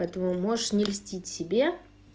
поэтому можешь не льстить себе